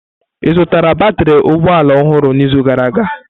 Ị zutara batrị ụgbọ ala ọhụrụ n'izu gara aga?